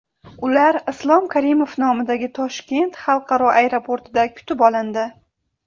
Ular Islom Karimov nomidagi Toshkent xalqaro aeroportida kutib olindi.